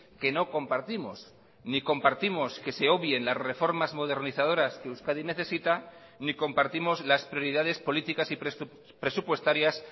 que no compartimos ni compartimos que se obvien las reformas modernizadoras que euskadi necesita ni compartimos las prioridades políticas y presupuestarias